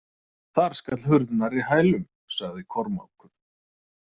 Þar skall hurð nærri hælum, sagði Kormákur.